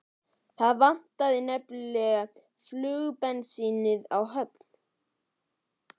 Það vantaði nefnilega flugvélabensín á Höfn.